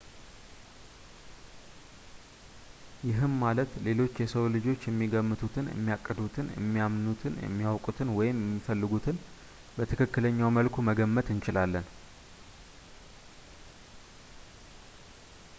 ይህም ማለት ሌሎች የሰው ልጆች የሚገምቱትን ፣የሚያቅዱትን ፣ የሚያምኑትን፣ የሚያውቁትን ወይም የሚፈልጉትን በትክክለኛው መልኩ መገመት እንችላለን